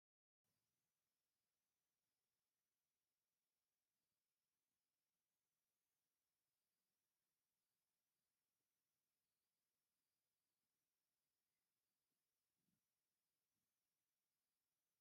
ኣብቲ ሜዳ ብርክቲ ዝበሉ ቆልዑት ኩዕሶ እግሪ እናተፀወቱ ኣለው። ኣጥቅኡ እውን መንበሪ ገዛውትን ባጃጅ ኣለው። ኣቶም ቆልዑት ብቁፅሪ በዝሖም ክንደይ ይመስለኩም?